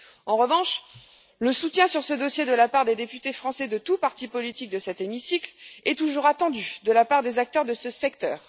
En revanche, le soutien sur ce dossier de la part des députés français de tous partis politiques de cet hémicycle est toujours attendu de la part des acteurs de ce secteur.